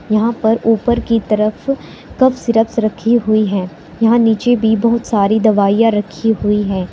यहां पर ऊपर की तरफ कफ सिरप्स रखी हुई है यहां नीचे भी बहुत सारी दवाइयां रखी हुई हैं।